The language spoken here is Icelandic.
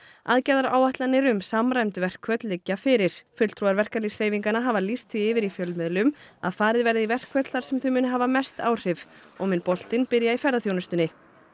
aðgerðaráætlanir um samræmd verkföll liggja fyrir fulltrúar verkalýðshreyfinganna hafa lýst því yfir í fjölmiðlum að farið verði í verkföll þar sem þau muni hafa mest áhrif og mun boltinn byrja í ferðaþjónustunni